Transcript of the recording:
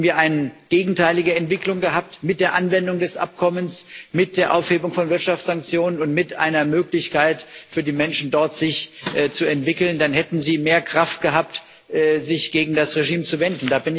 Hätten wir eine gegenteilige Entwicklung gehabt mit der Anwendung des Abkommens, mit der Aufhebung von Wirtschaftssanktionen und mit einer Möglichkeit für die Menschen dort, sich zu entwickeln dann hätten sie mehr Kraft gehabt, sich gegen das Regime zu wenden